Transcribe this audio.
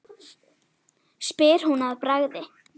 spyr hún að bragði.